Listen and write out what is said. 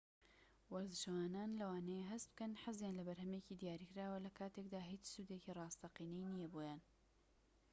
وەرزشەوانان لەوانەیە هەست بکەن حەزیان لە بەرهەمێکی دیاریکراوە لەکاتێکدا هیچ سوودێکی ڕاستەقینەی نیە بۆیان